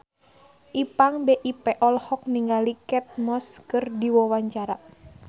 Ipank BIP olohok ningali Kate Moss keur diwawancara